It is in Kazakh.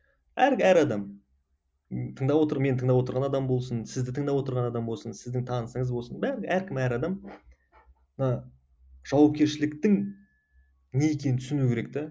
әр әр адам ы тыңдап отыр мені тыңдап отырған адам болсын сізді тыңдап отырған адам болсын сіздің танысыңыз болсын бәрі әркім әр адам мына жауапкершіліктің не екенін түсіну керек те